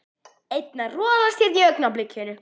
Einn að rolast hérna í augnablikinu.